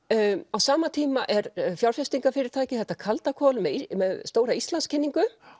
á sama tíma er þetta kaldakol með stóra Íslandskynningu